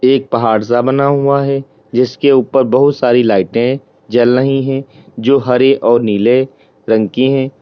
एक पहाड़ सा बना हुआ है जिसके ऊपर बहुत सारी लाइटें जल रही है जो हरे और नीले रंग की है।